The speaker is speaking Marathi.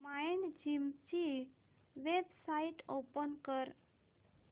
माइंडजिम ची वेबसाइट ओपन कर